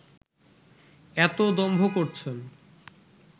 এতো দম্ভ করছেন